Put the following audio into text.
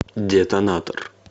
детонатор